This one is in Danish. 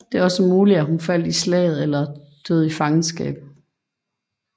Det er også muligt at hun faldt i slaget eller døde i fangenskab